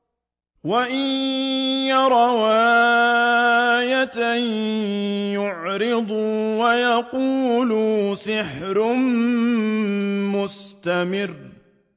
وَإِن يَرَوْا آيَةً يُعْرِضُوا وَيَقُولُوا سِحْرٌ مُّسْتَمِرٌّ